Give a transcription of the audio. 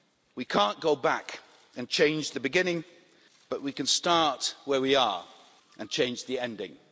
We can't go back and change the beginning, but can start where are and change the ending'.